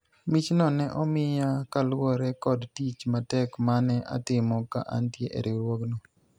michno ne omiya kaluwore kod tich matek mane atimo ka antie e riwruogno